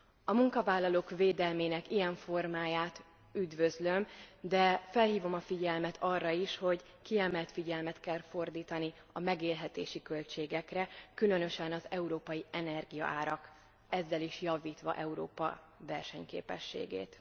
A munkavállalók védelmének ilyen formáját üdvözlöm, de felhívom a figyelmet arra is, hogy kiemelt figyelmet kell fordítani a megélhetési költségekre, különösen az európai energiaárakra ezzel is javítva Európa versenyképességét.